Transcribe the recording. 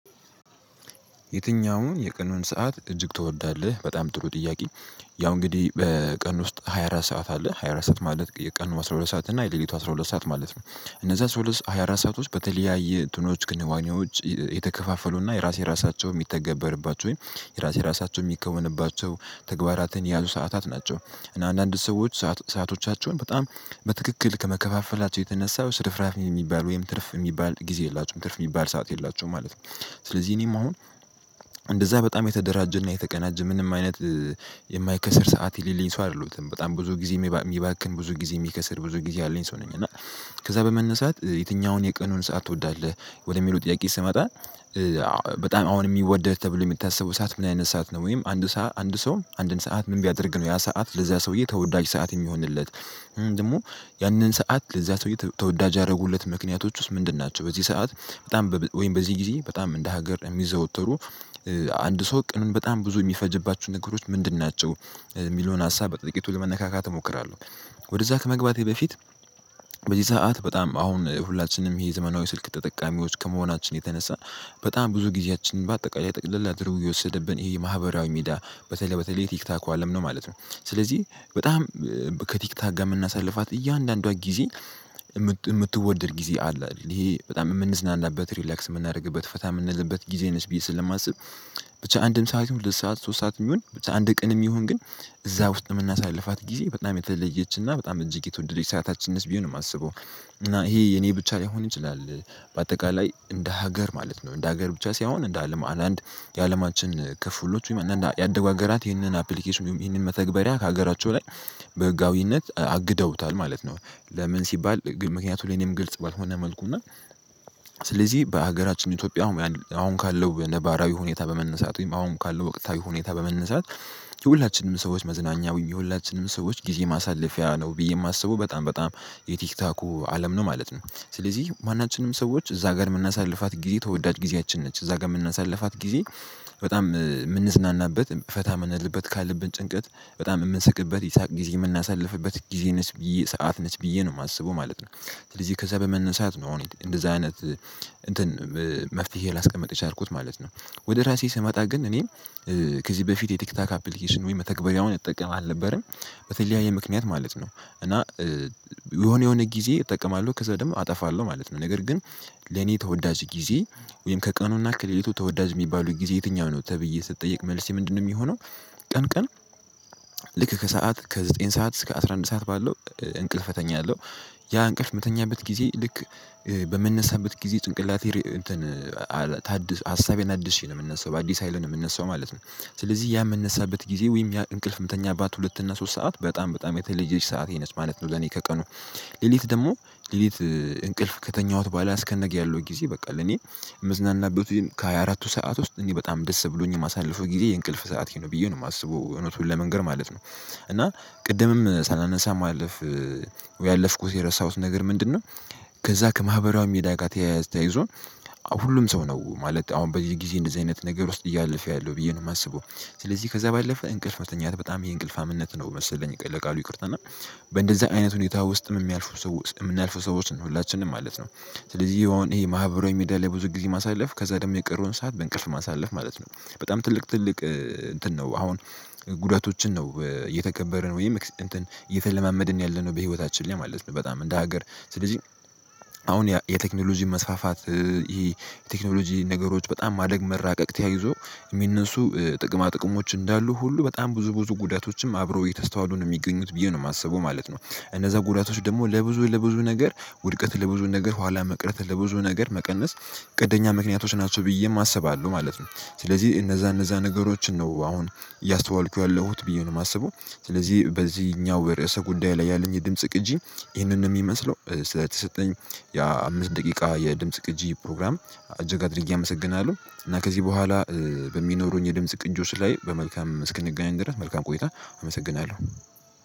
የትኛውን የቀኑን ሰዓት እጅግ ትወዳለህ በጣም ጥሩ ጥያቄ? ያው እንግዲህ በቀን ውስጥ ሃያ አራት ሰዓት አለ ሃያ አራት ሰዓት ማለት የቀን አስራ ሁለት ሰዓት እና የሌሊቱ አስራ ሁለት ሰዓት ማለት ነው። እነዛ አስራ ሁለት ሃያ አራት ሰአቶች በተለያየ እንትኖች ክንዋኔዎች የተከፋፈሉና የራሴ ራሳቸው የሚተገበርባቸው ወይ የራሴ ራሳቸው የሚከወንባቸው ተግባራትን የያዙ ሰዓታት ናቸው። አንዳንድ ሰዎች ሰዓቶቻቸውን በጣም በትክክል ከመከፋፈላቸው የተነሳው ስርፍራፊ የሚባል ወይም ትርፍ የሚባል ጊዜ የላቸውም ትርፍ የሚባል ሰዓት የላቸውም ማለት ነው። ስለዚህ እኔም አሁን እንደዛ በጣም የተደራጀና የተቀናጀ ምንም አይነት የማይከስር ሰዓት የሌላኝ ሰው አይደለሁም በጣም ብዙ ጊዜ የሚባክን ብዙ ጊዜ የሚከስር ብዙ ጊዜ ያለኝ ሰው ነኝ። እና ከዛ በመነሳት የትኛውን የቀኑን ሰዓት ትወዳለህ? ወደሚለው ጥያቄ ስመጣ። በጣም አሁን የሚወደድ ተብሎ የሚታሰበው ሰዓት ምን አይነት ሰዓት ነው ወይም አንድ ሰው አንድን ሰዓት ምን ቢያደርግ ነው ያ ሰዓት ለዛ ሰውዬ ተወዳጅ ሰዓት የሚሆንለት። ደግሞ ያንን ሰዓት ለዛ ሰውዬ ተወዳጅ ያደረጉለት ምክንያቶች ውስጥ ምንድን ናቸው? በዚህ ሰዓት በጣም ወይም በዚህ ጊዜ በጣም እንደ ሀገር የሚዘወተሩ አንድ ሰው ቀኑን በጣም ብዙ የሚፈጅባችሁ ነገሮች ምንድን ናቸው? የሚለውን ሀሳብ በጥቂቱ ለመነካካት እሞክራለሁ። ወደዛ ከመግባቴ በፊት። በዚህ ሰዓት በጣም አሁን ሁላችንም ይሄ ዘመናዊ ስልክ ተጠቃሚዎች ከመሆናችን የተነሳ በጣም ብዙ ጊዜያችን በአጠቃላይ ጠቅለላ አደርጎ የወሰደብን ይሄ የማህበራዊ ሚዲያ በተለይ በተለይ ቲክተኩ አለም ነው ማለት ነው። ስለዚህ በጣም ከቲክቶክ የምናሳልፋት እያንዳንዷ ጊዜ የምትወደድ ጊዜ አለ ይሄ በጣም የምንዝናናበት ሪላክስ የምናደርግበት ፈታ የምንልበት ጊዜ ነች ብዬ ስለማስብ። ብቻ አንድም ሰዓት ይሁን ሁለት ሰዓት ሶስት ሰዓት የሚሆን አንድ ቀንም ይሁን ግን እዛ ውስጥ የምናሳልፋት ጊዜ በጣም የተለየችና በጣም እጅግ የተወደደች ሰዓታችንስ ብዬ ነው የማስበው። እና ይሄ የኔ ብቻ ሊሆን ይችላል። በአጠቃላይ እንደ ሀገር ማለት ነው እንደ ሀገር ብቻ ሳይሆን እንደ አለም አንዳንድ የአለማችን ክፍሎች ያደጉ ሀገራት ይህንን አፕሊኬሽን ወይም ይህን መተግበሪያ ከሀገራቸው ላይ በህጋዊነት አግደውታል ማለት ነው። ለምን ሲባል ምክንያቱም ለኔም ግልጽ ባልሆነ መልኩ እና ስለዚህ በሀገራችን ኢትዮጵያ አሁን ካለው ነባራዊ ሁኔታ በመነሳት ወይም አሁን ካለው ወቅታዊ ሁኔታ በመነሳት። የሁላችንም ሰዎች መዝናኛውን የሁላችንም ሰዎች ጊዜ ማሳለፊያ ነው ብዬ የማስበው በጣም በጣም የቲክታኩ አለም ነው ማለት ነው። ስለዚህ ማናችንም ሰዎች እዛ ጋር የምናሳልፋት ጊዜ ተወዳጅ ጊዜያችን ነች እዛ ጋር የምናሳልፋት ጊዜ። በጣም የምንዝናናበት ፈታ የምንልበት ካለብን ጭንቀት በጣም የምንስቅበት የሳቅ ጊዜ የምናሳልፍበት ጊዜ ነች ብዬ ሰዓት ነች ብዬ ነው የማስበው ማለት ነው። ስለዚህ ከዛ በመነሳት ነው እንደዛ አይነት እንትን መፍትሄ ላስቀምጥ የቸልኩት ማለት ነው። ወደ ራሴ ስመጣ ግን እኔ ከዚህ በፊት የቲክታክ አፕሊኬሽን ወይ መተግበሪያውን እጠቀም አልነበረም። በተለያየ ምክንያት ማለት ነው። እና የሆነ የሆነ ጊዜ እጠቀማለሁ ከዛ ደግሞ አጠፋለሁ ማለት ነው። ነገር ግን ለኔ ተወዳጅ ጊዜ ወይም ከቀኑና ከሌሊቱ ተወዳጅ የሚባሉት ጊዜ የትኛው ነው ተብዬ ስትጠየቅ መልስ ምንድነው የሚሆነው? ቀን ቀን ልክ ከሰአት ከዘጠኝ ሰዓት እስከ አስራ አንድ ሰዓት ባለው እንቅልፍ እተኛለው። ያ እንቅልፍ የምትተኛበት ጊዜ ልክ በምንነሳበት ጊዜ ጭንቅላቴ እንትን ታድስ አሳቤን አድሼ ነው የምንሳው በአዲስ ሀይል ነው የምነሳው ማለት ነው። ስለዚህ ያ የምነሳበት ጊዜ ወይም ያ እንቅልፍ እንቅልፍ የምተኛባት ሁለት እና ሶስት ሰዓት በጣም በጣም የተለየች ሰዓቴ ነች ማለት ነው። ለኔ ከቀኑ ሌሊት ደግሞ ሌሊት እንቅልፍ ከተኛሁት በኋላ አስከነገ ያለው ጊዜ በቃ ለኔ የምዝናናበት ከሃያ አራቱ ሰዓት ውስጥ እኔ በጣም ደስ ብሎኝ የማሳልፈው ጊዜ የእንቅልፍ ሰዓቴ ነው ብዬ ነው የማስበው እውነቱን ለመንገር ማለት ነው። እና ቅድምም ሳላነሳ ማለፍ ያለፍኩት የረሳሁት ነገር ምንድነው? ከዛ ከማህበራዊ ሚድያ ጋር ተያያዝ ተያይዞን ሁሉም ሰው ነው ማለት አሁን በዚህ ጊዜ እንደዚህ አይነት ነገር ውስጥ እያለፈ ያለው ብዬ ነው የማስበው። ከዛ ባለፈ እንቅልፍ መተኛት በጣም ይሄ እንቅልፉምነት ነው መሰለኝ ለቃሉ ይቅርታና እና በእንደዚህ አይነት ሁኔታ ውስጥም የሚያልፉ ሰው የምናልፈው ሰዎች ነው ሁላችንም ማለት ነው። ስለዚህ አሁን ይሄ ማህበራዊ ሚድያ ላይ ብዙ ጊዜ ማሳለፍ ከዛ ደግሞ የቀረውን ሰዓት በእንቅልፍ ማሳለፍ ማለት ነው። በጣም ትልቅ ትልቅ እንትን ነው አሁን ጉዳቶችን ነው የተገበረን ወይ እንትን እየተለማመድን ያለነው በህይወታችን ላይ ማለት ነው በጣም እንደ ሀገር ስለዚህ። አሁን የቴክኖሎጂ መስፋፋት ይሄ የቴክኖሎጂ ነገሮች በጣም ማደግ መራቀቅ ተያይዞ የሚነሱ ጥቅማ ጥቅሞች እንዳሉ ሁሉ በጣም ብዙ ብዙ ጉዳቶችም አብረው እየተስተዋሉ ነው የሚገኙት ብዬ ነው የማስበው ማለት ነው። እነዛ ጉዳቶች ደግሞ ለብዙ ለብዙ ነገር ውድቀት ለብዙ ነገር ኋላ መቅረት ለብዙ ነገር መቀነስ ቀንደኛ ምክንያቶች ናቸው ብዬም አሰባለሁ ማለት ነው። ስለዚህ እነዛ እነዛ ነገሮችን ነው አሁን እያስተዋልኩ ያለሁት ብዬ ነው የማስበው። ስለዚህ በዚህኛው የርዕሰ ጉዳይ ላይ ያለኝ የድምጽ ቅጂ ይህንን ነው የሚመስለው ስለተሰጠኝ። ያ አምስት ደቂቃ የድምጽ ቅጂ ፕሮግራም እጅግ አድርጌ አመሰግናለሁ። እና ከዚህ በኋላ በሚኖሩኝ የድምጽ ቅጆች ላይ በመልካም እስክንገናኝ ድረስ መልካም ቆይታ። አመሰግናለሁ።